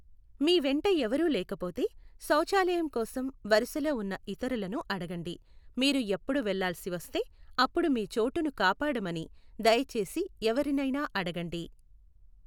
మీ వెంట ఎవరూ లేకపోతే, శౌచాలయం కోసం వరుసలో ఉన్న ఇతరులను అడగండి, మీరు ఎప్పుడు వెళ్ళాల్సి వస్తే, అప్పుడు మీ చోటుని కాపాడమని దయచేసి ఎవరినైనా అడగండి.